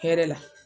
Hɛrɛ la